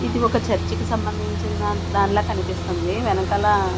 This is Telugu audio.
ఇది ఒక చర్చికి సంబంధించిన దాన్ దానిలా కనిపిస్తుంది వెనకాల--